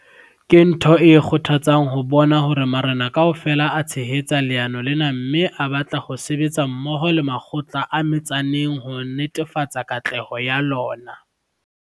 Ke ntho e kgothatsang ho bona hore marena kaofela a tshehetsa leano lena mme a batla ho sebetsa mmoho le makgotla a metsaneng ho netefatsa katleho ya lona.